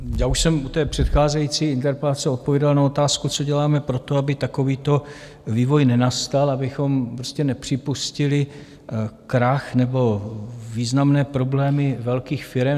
Já už jsem u té předcházející interpelace odpověděl na otázku, co děláme pro to, aby takovýto vývoj nenastal, abychom prostě nepřipustili krach nebo významné problémy velkých firem.